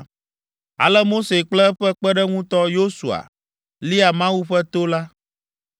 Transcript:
Ale Mose kple eƒe kpeɖeŋutɔ, Yosua lia Mawu ƒe to la.